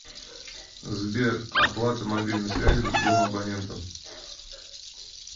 сбер оплата мобильной связи другому абоненту